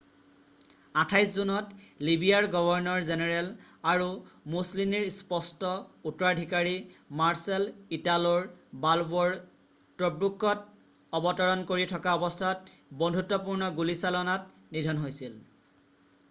28 জুনত লিবিয়াৰ governor general আৰু মুছলিনীৰ স্পষ্ট উত্তৰাধিকাৰী মাৰ্শ্বাল ইটাল' বালব'ৰ টব্ৰুকত অৱতৰণ কৰি থকা অৱস্থাত বন্ধুত্বপূৰ্ণ গুলীচালনাত নিধন হৈছিল